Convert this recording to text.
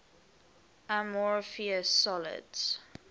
amorphous solids